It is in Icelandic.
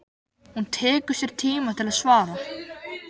Hún tekur sér tíma til að svara.